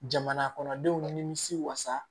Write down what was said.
Jamana kɔnɔdenw nimisi wasa